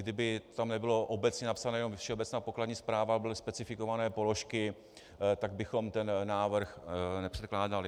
Kdyby tam nebylo obecně napsané jenom Všeobecná pokladní správa, ale byly specifikované položky, tak bychom ten návrh nepředkládali.